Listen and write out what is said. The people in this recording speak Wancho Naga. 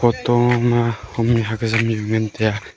huto ma hom mikhok azam ju ngan teya.